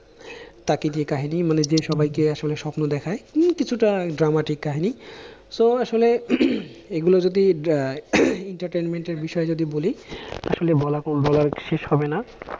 তাকে দিয়ে কাহিনী মানে যে সময়কে আসলে স্বপ্ন দেখায় উহ কিছুটা dramatic কাহিনী so আসলে এগুলো যদি আহ entertainment এর বিষয় যদি বলি আসলে বলার শেষ হবে না,